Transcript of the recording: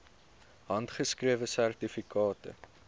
handgeskrewe sertifikate